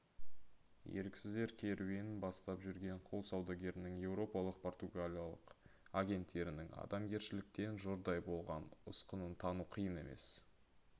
еріксіздер керуенін бастап жүрген құл саудагерінің еуропалық-португалиялық агенттерінің адамгершіліктен жұрдай болған ұсқынын тану қиын емес